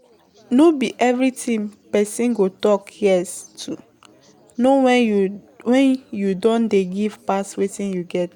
No be everything person go talk yes to, know when you don dey give pass wetin you get